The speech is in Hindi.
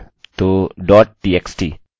तो txt